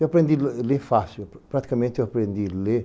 Eu aprendi a le ler fácil, praticamente eu aprendi a ler.